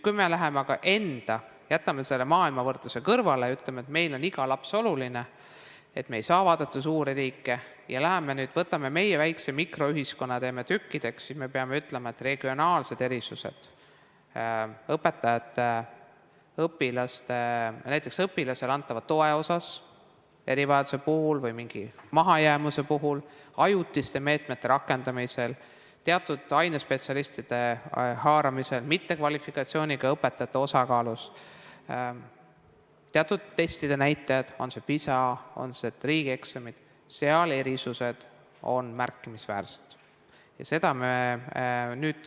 Kui me aga jätame selle võrdluse maailmaga kõrvale ja ütleme, et meile on iga laps oluline, me ei saa vaadata suuri riike, ja võtame meie väikese mikroühiskonna, siis me peame ütlema, et regionaalsed erisused näiteks õpilasele antava toe puhul erivajaduse või mingi mahajäämuse korral, ajutiste meetmete rakendamisel, teatud ainespetsialistide puhul, mittekvalifitseeritud õpetajate osakaalus, teatud testide tulemustes, on see PISA või on need riigieksamid, on märkimisväärsed.